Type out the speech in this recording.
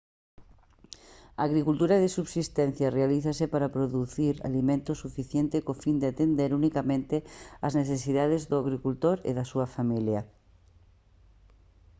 a agricultura de subsistencia realízase para producir alimento suficiente co fin de atender unicamente as necesidades do agricultor e da súa familia